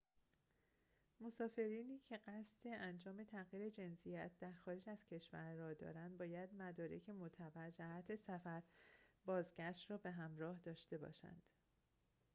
مسافرینی که قصد انجام تغییر جنسیت در خارج از کشور را دارند باید مدارک معتبر جهت سفر بازگشت را به همراه داشته باشند